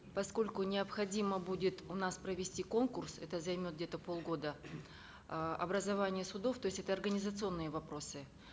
поскольку необходимо будет у нас провести конкурс это займет где то полгода э образование судов то есть организационные вопросы